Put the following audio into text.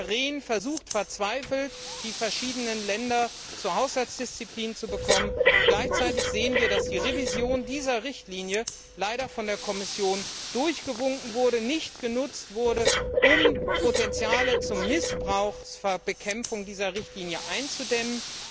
Herr Rehn versucht verzweifelt, die verschiedenen Länder zu Haushaltsdisziplin zu bewegen. Gleichzeitig sehen wir, dass die Revision dieser Richtlinie leider von der Kommission durchgewunken wurde und nicht genutzt wurde, um Potenziale zum Missbrauch einzudämmen.